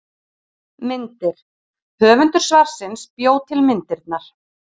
Myndir: Höfundur svarsins bjó til myndirnar.